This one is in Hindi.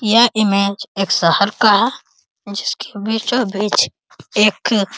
यह इमेज एक शहर का है जिसके बीचों बीच एक --